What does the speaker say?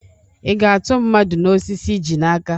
Ị ga-atụ mmadụ n'osisi i ji n'aka?